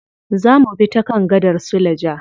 Za mubi ta kan gadar suleja.